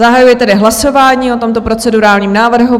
Zahajuji tedy hlasování o tomto procedurálním návrhu.